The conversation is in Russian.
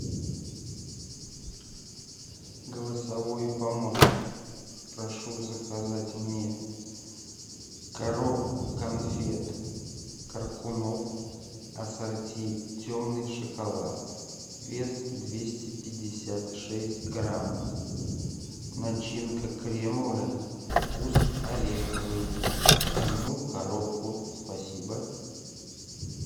голосовой помощник прошу заказать мне коробку конфет коркунов ассорти темный шоколад вес двести пятьдесят шесть грамм начинка кремовая вкус ореховый одну коробку спасибо